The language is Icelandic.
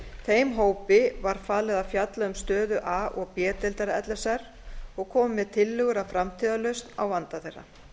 þeim hópi var falið að fjalla um stöðu a og b deildar l s r og komi með tillögur að framtíðarlausn á vanda þeirra